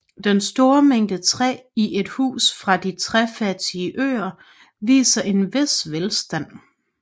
Den store mængde træ i et hus fra de træfattige øer viser en vis velstand